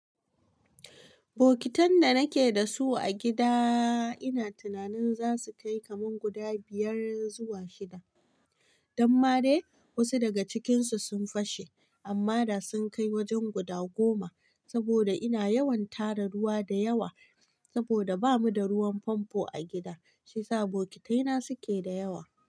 Bokitan da nake da su a gida ina tunanin za su kai kaman guda biyar zuwa shida. Dan madai wasu daga cikinsu sun fashe, amma da sun kai wajen guda goma. Saboda ina yawan tara ruwa da yawa, saboda bamu da ruwan famfo a gida, shiyasa bokitai na suke da yawa.